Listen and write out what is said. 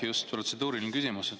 Just, protseduuriline küsimus.